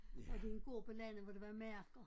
Og det en gård på landet hvor der var marker